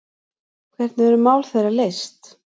Hvernig eru mál þeirra leyst?